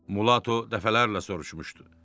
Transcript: Mulatto dəfələrlə soruşmuşdu.